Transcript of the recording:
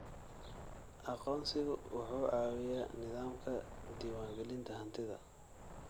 Aqoonsigu wuxuu caawiyaa nidaamka diiwaangelinta hantida.